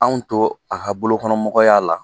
Anw to a ha bolokɔnɔmɔgɔya la !